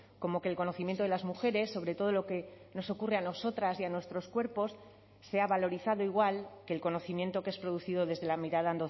como que el conocimiento de las mujeres sobre todo lo que nos ocurre a nosotras y a nuestros cuerpos se ha valorizado igual que el conocimiento que es producido desde la mirada